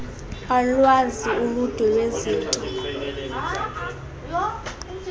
alwazi uludwe lwezinto